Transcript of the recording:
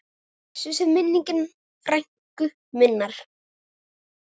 Blessuð sé minning frænku minnar.